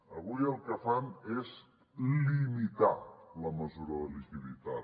avui el que fan és limitar la mesura de liquiditat